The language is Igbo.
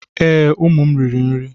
Ee, ụmụ m riri nri.